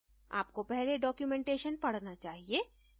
आपको पहले documentation पढना चाहिए